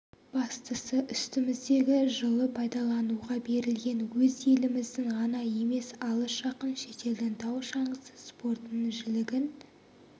бастысы үстіміздегі жылы пайдалануға берілген өз еліміздің ғана емес алыс-жақын шетелдің тау шаңғысы спортының жілігін